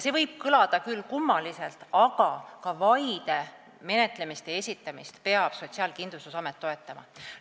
See võib kõlada küll kummaliselt, aga ka vaide esitamist peab SKA toetama.